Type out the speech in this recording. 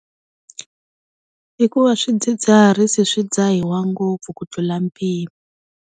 I ku va swidzidziharisi swi dzahiwa ngopfu ku tlula mpimo.